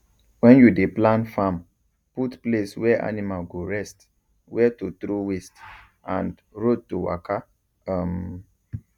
when you dey plan farm put place where animal go rest where to throw waste and road to waka um